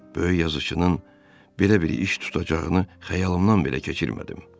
Böyük yazıçının belə bir iş tutacağını xəyalımdan belə keçirmədim.